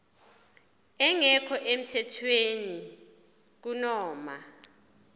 engekho emthethweni kunoma